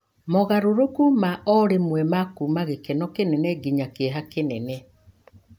mogarũrũku ma o rĩmwe ma kuuma gĩkeno kĩnene nginya kĩeha kĩnene.